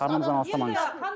арнамыздан алыстамаңыз